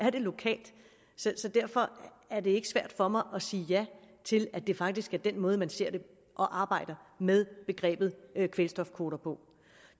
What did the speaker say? lokalt så derfor er det ikke svært for mig at sige ja til at det faktisk er den måde man ser det og arbejder med begrebet kvælstofkvoter på